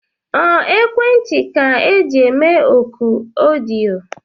Ọ ekwentị ka eji eme ọkụ ọdịyo?